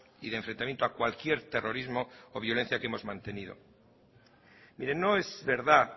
y de enfrentamiento a cualquier terrorismo o violencia que hemos mantenido mire no es verdad